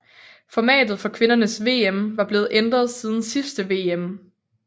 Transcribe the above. Formatet for kvindernes VM var blevet ændret siden sidste VM